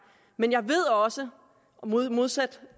men jeg ved også modsat